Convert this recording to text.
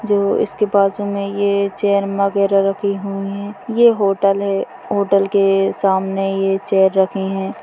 जो इसके बाजू मे ये चेयर वगैरा लगे हुए है ये होटल है होटल के सामने ये चेयर रखे है ।